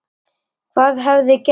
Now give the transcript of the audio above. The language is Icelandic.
Hvað hefði gerst?